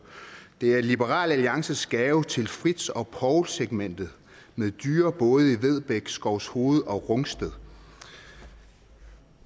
det er liberal alliances gave til fritz og poul segmentet med dyre både i vedbæk skovshoved og rungsted